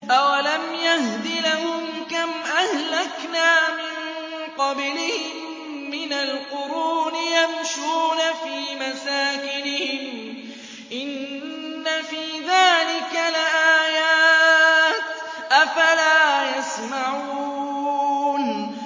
أَوَلَمْ يَهْدِ لَهُمْ كَمْ أَهْلَكْنَا مِن قَبْلِهِم مِّنَ الْقُرُونِ يَمْشُونَ فِي مَسَاكِنِهِمْ ۚ إِنَّ فِي ذَٰلِكَ لَآيَاتٍ ۖ أَفَلَا يَسْمَعُونَ